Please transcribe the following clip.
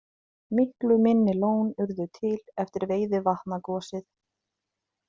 Miklu minni lón urðu til eftir Veiðivatnagosið.